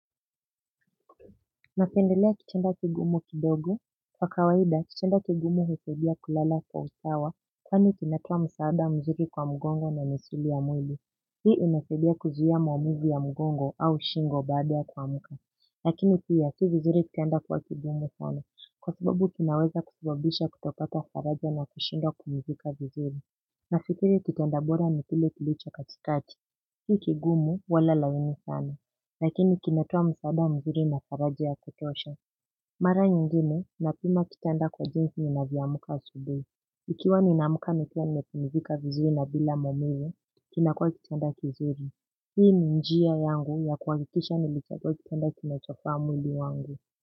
Napendelea kitanda kigumu kidogo. Kwa kawaida kitanda kigumu husaidia kulala kwa usawa. Kwani kinatoa msaada mzuri kwa mgongo na misuli ya mwili. Hii inasaidia kuzuia maumivu ya mgongo au shingo baada ya kuamka. Lakini pia si vizuri kitanda kuwa kigumu kwangu kwa sababu kinaweza kusababisha kutopata faraja na kushindwa kuridhika vizuri. Nafikiri kitanda bora na kile kilicho katikati. Si kigumu wala laini sana lakini kinatoa msaada mzuri na faraja ya kutosha mara nyingine napima kitanda kwa jinsi ninavyoamka asubuhi ikiwa ninaamka nikiwa nimepumzika vizuri na bila maumivu kinakuwa kitanda kizuri hii ni njia yangu ya kuhakikisha nilichagua kitanda kinachofaa mwili wangu.